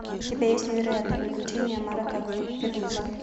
у тебя есть невероятные приключения марека пегуса